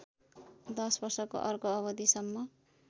दश वर्षको अर्को अवधिसम्म